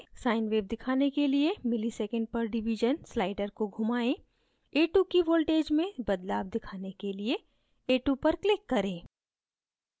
sine wave दिखाने के लिए msec/div slider को घुमाएँ a2 की voltages में बदलाव दिखाने के लिए a2 पर click करें